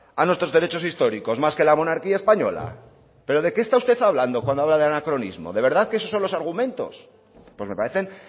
a nuestros derechos históricos más que la monarquía española pero de qué está usted hablando cuando habla de anacronismo de verdad que esos son los argumentos pues me parecen